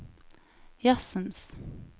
jazzens